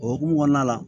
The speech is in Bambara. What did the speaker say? O hokumu kɔnɔna la